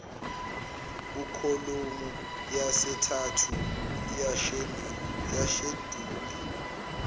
kukholomu yesithathu yesheduli